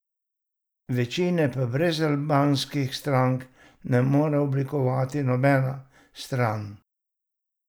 Večine pa brez albanskih strank ne more oblikovati nobena stran.